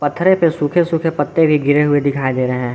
पत्थरे पे सूखे सूखे पत्ते भी गिरे हुए दिखाई दे रहे हैं।